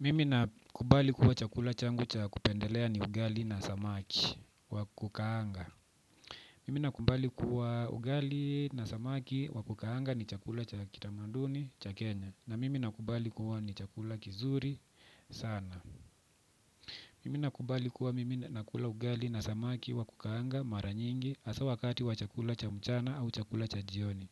Mimi nakubali kuwa chakula changu cha kupendelea ni ugali na samaki wa kukaanga. Mimi nakubali kuwa ugali na samaki wa kukaanga ni chakula cha kitamanduni cha kenya. Na mimi nakubali kuwa ni chakula kizuri sana. Mimi nakubali kuwa mimi nakula ugali na samaki wa kukaanga mara nyingi hasa wakati wa chakula cha mchana au chakula cha jioni.